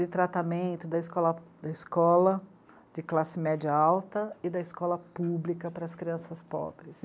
De tratamento da escola, da escola de classe média alta e da escola pública para as crianças pobres.